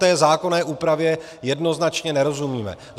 Té zákonné úpravě jednoznačně nerozumíme.